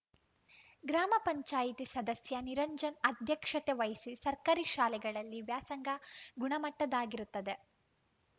ಗ್ರಾಮ ಪಂಚಾಯಿತಿ ಸದಸ್ಯ ನಿರಂಜನ್‌ ಅಧ್ಯಕ್ಷತೆ ವಹಿಸಿ ಸರ್ಕಾರಿ ಶಾಲೆಗಳಲ್ಲಿ ವ್ಯಾಸಂಗ ಗುಣಮಟ್ಟದ್ದಾಗಿರುತ್ತದೆ